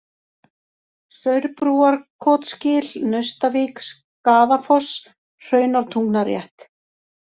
Saurbrúarkotsgil, Naustavík, Skaðafoss, Hraunártungnarétt